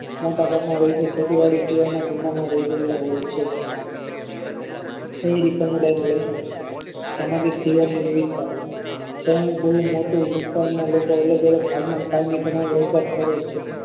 મોટા ભાગના રહીશો ખેતી વળી સિવાયના જમવામાં રહી ગયેલા હોય છે કોઈ સમુદાયના લક્ષણ સામાજિક જીવનની વિવિધ જેનું બહુ મોટું વિસ્તારમાં અલગ અલગ ભાગમાં કાર્ય કરવાની કરે છે